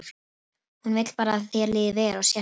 Hún vill bara að þér líði vel og sért örugg.